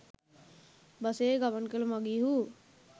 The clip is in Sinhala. බසයේ ගමන් කළ මඟීහු